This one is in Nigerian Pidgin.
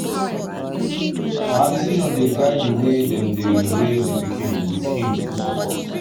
her decision dey guide the way dem they raise the pikin with him full support